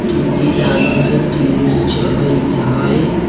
टी.वी. लागल हई टी.वी. चलत हई।